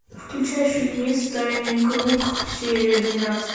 включай фильмец тайный круг серия двенадцать